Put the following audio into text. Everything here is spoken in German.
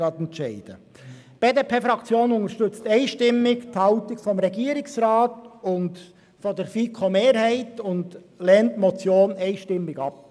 Die BDP-Fraktion unterstützt einstimmig die Haltung des Regierungsrats und der FiKoMehrheit und lehnt die Motion einstimmig ab.